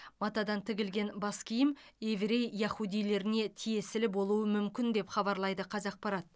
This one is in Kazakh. матадан тігілген бас киім еврей яхудилеріне тиесілі болуы мүмкін деп хабарлайды қазақпарат